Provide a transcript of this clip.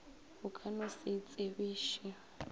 o ka no se itsebiše